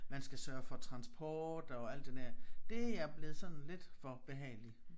Man skal sørge for transport og alt det der det er jeg blevet sådan lidt for behagelig